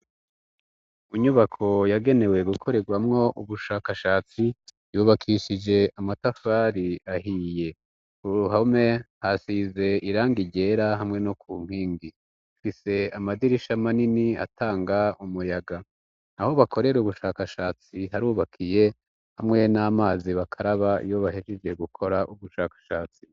Umunyubako yagenewe gukorerwamwo ubushakashatsi yubakishije amatafari ahiye uruhome hasize iranga irera hamwe no ku nkingi fise amadirisha manini atanga umuyaga aho bakorere ubushakashatsi harubakiye hamwe nama amazi bakaraba iyo bahejije gukora ubushakashatsi.